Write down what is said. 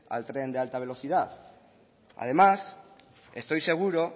al tren de alta velocidad además estoy seguro